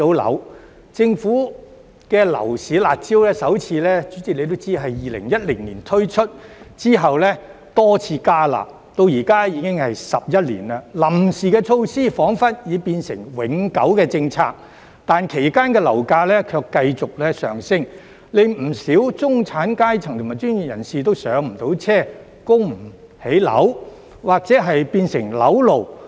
代理主席也知道，政府的樓市"辣招"首次於2010年推出，之後多次"加辣"，至今已經11年，臨時措施彷彿已變成永久政策，但其間樓價卻繼績上升，令不少中產階層及專業人士都無法"上車"、供不起樓或變成"樓奴"。